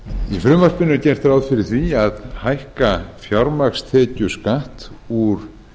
í frumvarpinu er gert ráð fyrir að hækka fjármagnstekjuskatt úr